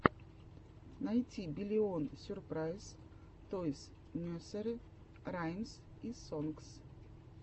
найти биллион сюрпрайз тойс несери раймс и сонгс